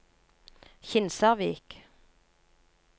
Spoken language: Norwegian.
Kinsarvik